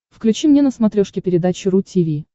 включи мне на смотрешке передачу ру ти ви